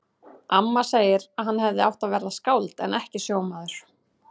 Amma segir að hann hefði átt að verða skáld en ekki sjómaður.